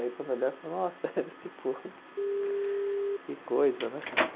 Aí quando eu olhava, falou, nossa, tipo, que coisa, né?